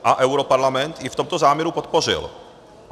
A europarlament ji v tomto záměru podpořil.